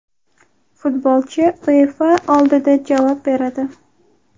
Futbolchi UEFA oldida javob beradi.